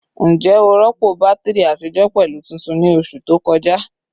Njẹ o rọpo batiri atijọ pẹlu tuntun ni oṣu to kọja?